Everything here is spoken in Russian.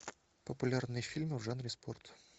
популярные фильмы в жанре спорт